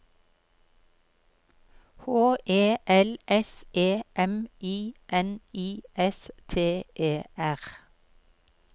H E L S E M I N I S T E R